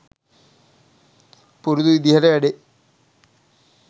පුරුදු විදිහට වැඩේ